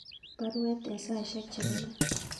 Baruet en saisyek chebo let